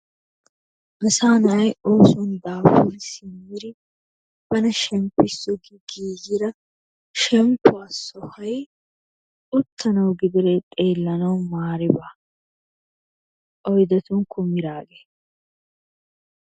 Asaa na'ay oosuwan daafuri simmidi bana shemppissnawu giigida shemppuwa sohay uttanawu gididee xeellanawu maari baa. Oydetun kumiraagee,